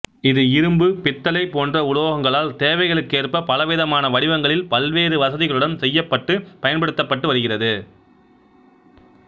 இது இரும்பு பித்தளை போன்ற உலோகங்களால் தேவைகளுக்கேற்ப பல விதமான வடிவங்களில் பல்வேறு வசதிகளுடன் செய்யப்பட்டு பயன்படுத்தப்பட்டு வருகிறது